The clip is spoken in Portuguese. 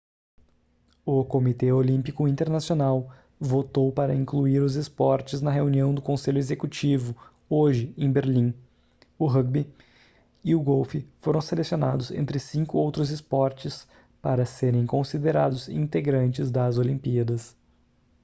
o comitê olímpico internacional votou para incluir os esportes na reunião do conselho executivo hoje em berlim o rúgbi e o golfe foram selecionados entre 5 outros esportes para serem considerados integrantes das olimpíadas